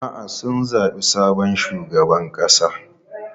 A'a, sun zabi sabon shugaban ƙasa.